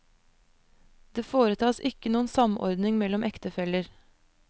Det foretas ikke noen samordning mellom ektefeller.